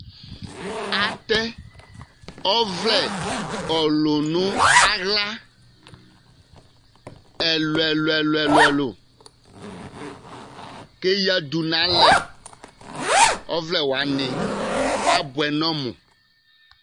atɛ ɔvlɛ ɔlu no ala ɛlu ɛlu ɛlu k'eyadu n'alɛ ɔvlɛ wani aboɛ n'ɔmu